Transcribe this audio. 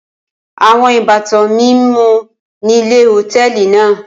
Awọn ibatan mi mu ni ile-ọti hotẹẹli naa.